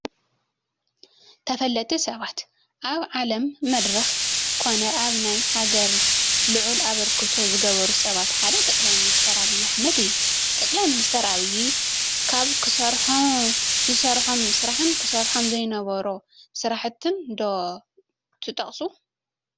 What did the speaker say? ተፈለጥቲ ሰባት፡- ኣብ ዓለም መድረኽ ኮነ ኣብ ናይ ሃገር ልዑል ኣበርክቶ ዝገበሩ ሰባት ሓደ ጠ/ ሚ/ ኣብይ ኣሕመድ እዩ፡፡ ጠ/ሚ/ ኣብይ ካብ ዝሰርሖም ስራሕን ክሰርሖም ዘይነበሮ ስራሕትን ዶ ትጠቕሱ?